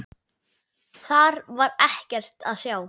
Þar var ekkert að sjá.